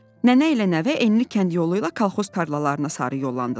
Nənə ilə nəvə enli kənd yolu ilə kolxoz tarlalarına sarı yollandılar.